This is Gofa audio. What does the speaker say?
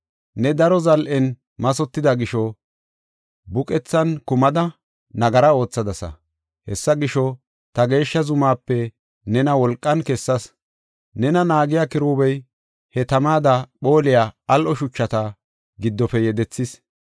Ne daro zal7en mathotida gisho buqethan kumada, nagara oothadasa. Hessa gisho, ta geeshsha zumaape nena wolqan kessas. Nena naagiya kiruubey, he tamada phooliya al7o shuchata giddofe yedethis.